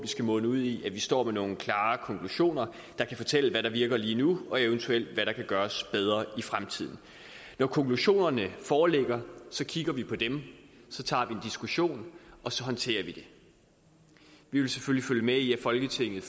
skal munde ud i at vi står med nogle klare konklusioner der kan fortælle hvad der virker lige nu og eventuelt hvad der kan gøres bedre i fremtiden når konklusionerne foreligger kigger vi på dem så tager vi en diskussion og så håndterer vi det vi vil selvfølgelig følge med i at folketinget